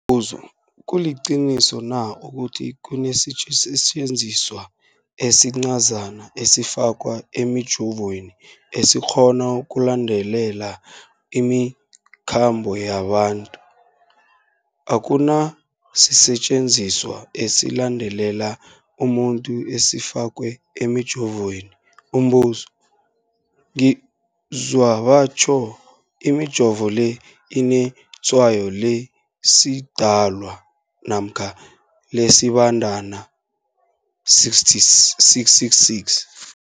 buzo, kuliqiniso na ukuthi kunesisetjenziswa esincazana esifakwa emijovweni, esikghona ukulandelela imikhambo yabantu? Akuna sisetjenziswa esilandelela umuntu esifakwe emijoveni. Umbuzo, ngizwa batjho imijovo le inetshayo lesiDalwa namkha lesiBandana 666.